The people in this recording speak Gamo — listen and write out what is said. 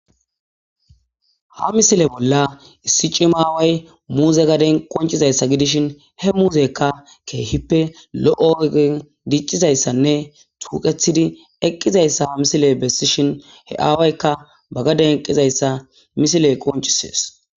ha misile bolla issi cimaaway muuze gaden qoncizayssa gidishin he muuzekka keehippe lo7ogegen diccizayssanne tuuqethidi eqqizayssa ha misile bessishin he aawaykka bagaden eqqizayssa misile qoncisees